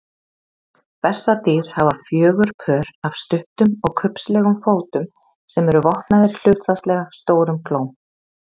Bessadýr hafa fjögur pör af stuttum og kubbslegum fótum sem eru vopnaðir hlutfallslega stórum klóm.